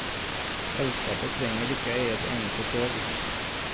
Selskapet trenger ikke eie et eneste tog.